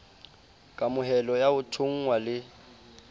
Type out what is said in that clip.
kamohelo ya ho thonngwa le